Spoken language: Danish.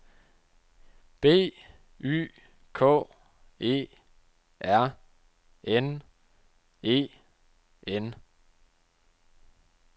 B Y K E R N E N